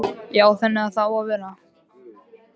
Já, þannig á það að vera.